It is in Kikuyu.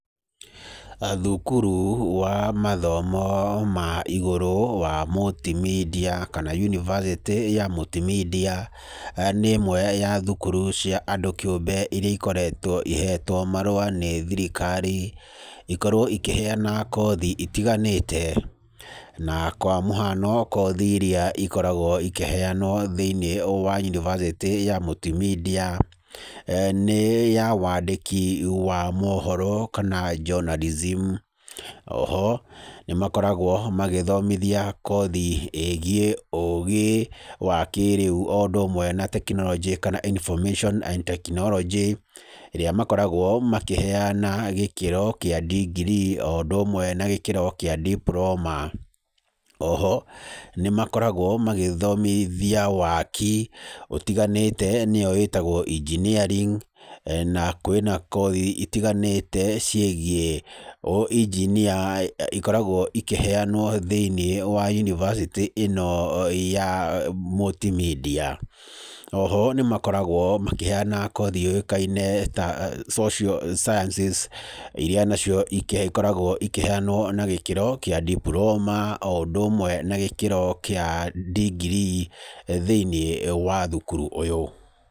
Thukuru wa mathomo ma igũrũ wa mũltimedia kana yunivathĩtĩ ya mũltimedia, nĩ imwe cia thukuru cia andũ kĩũmbe iria ikoretwo ihetwo marũa nĩ thirikari, ikorwo ikĩheana kothi itiganĩte, na kwa mũhano kothi iria ikoragwo ikĩheanwo thĩinĩ wa yunivathĩtĩ ya Multimedia, nĩ ya wandĩki wa mohoro kana journalism o ho, nĩ makoragwo magĩthomithia kothi ĩgiĩ ũũgĩ wa kĩrĩũ o ũndũ ũmwe na tekinoronjĩ kana information and technology ĩrĩa makoragwo makĩheana gĩkĩro kĩa ndingirii o ũndũ ũmwe na gĩkĩro kĩa ndipuroma. O ho nĩ makoragwo magĩthomithia waaki ũtiganĩte nĩyo ĩtagwo engineering na kwĩna kothi itiganĩte ciĩgiĩ ũengineer ikoragwo ikĩheanwo thĩinĩ wa yunivathĩtĩ ĩno ya Multimedia. O ho nĩ makoragwo makĩheana kothi yũyĩkaine ta social sciences iria nacio ikoragwo ikĩheanwo na gĩkĩro kĩa ndipuroma o ũndũ ũmwe na gĩkĩro kĩa ndingirii thĩinĩ wa thukuru ũyũ.